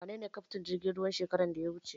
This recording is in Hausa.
Waye kaftin jirgin ruwan shekaran da ya wuce?